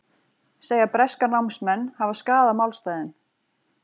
Segja breska námsmenn hafa skaðað málstaðinn